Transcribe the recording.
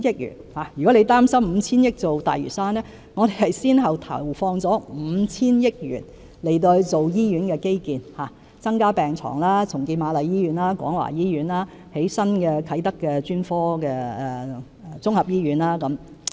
如果范議員擔心以 5,000 億元發展大嶼山，其實我們先後投放了 5,000 億元在醫院基建，包括增加病床、重建瑪麗醫院和廣華醫院、在啟德興建新的專科綜合醫院等。